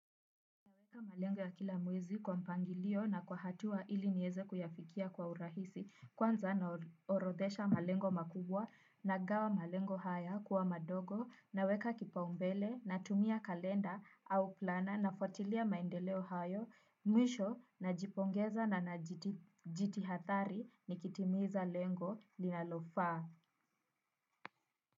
Naweka malengo ya kila mwezi kwa mpangilio na kwa hatua ili nieze kuyafikia kwa urahisi kwanza naorodhesha malengo makubwa na gawa malengo haya kuwa madogo naweka kipaumbele na tumia kalenda au plana na fuatilia maendeleo hayo mwisho najipongeza na najiti hathari nikitimiza lengo linalofaa.